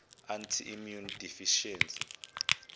anti immune deficiency